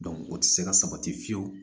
o tɛ se ka sabati fiyewu